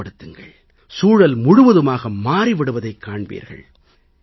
அப்படி ஏற்படுத்துங்கள் சூழல் முழுவதுமாக மாறிவிடுவதைக் காண்பீர்கள்